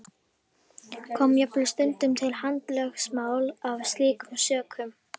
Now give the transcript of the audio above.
Kom jafnvel stundum til handalögmáls af slíkum sökum.